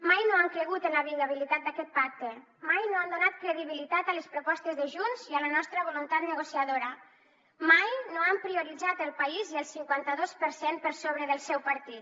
mai no han cregut en la viabilitat d’aquest pacte mai no han donat credibilitat a les propostes de junts i a la nostra voluntat negociadora mai no han prioritzat el país i el cinquanta dos per cent per sobre del seu partit